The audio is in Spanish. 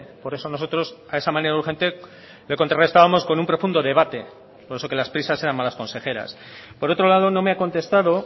por eso nosotros a esa manera urgente le contrarrestábamos con un profundo debate por eso de que las prisas eran malas consejeras por otro lado no me ha contestado